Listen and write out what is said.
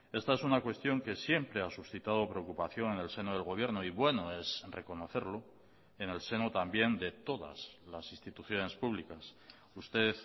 esta es una cuestión que siempre ha suscitado preocupación en el seno del gobierno y bueno es reconocerlo en el seno también de todas las instituciones públicas usted